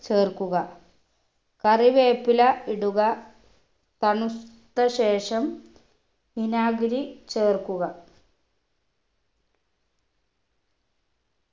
ചേർക്കുക കറിവേപ്പില ഇടുക തണുത്ത ശേഷം വിനാഗിരി ചേർക്കുക